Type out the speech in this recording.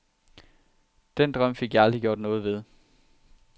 Den drøm fik jeg aldrig gjort noget ved.